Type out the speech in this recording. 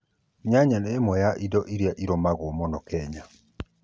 nyanya nĩ ĩmwe cĩa ĩndo ĩrĩa ĩrĩmagũo mũno kenya